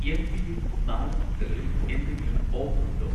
MPM. നാടൻ മുട്ടകളിൽ എന്തെങ്കിലും ഓഫർ ഉണ്ടോ?